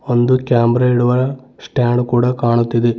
ಒಂದು ಕ್ಯಾಮೆರಾ ಇಡುವ ಸ್ಟ್ಯಾಂಡ್ ಕೂಡ ಕಾಣುತ್ತಿದೆ.